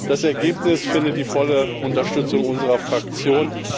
Das Ergebnis findet die volle Unterstützung unserer Fraktion.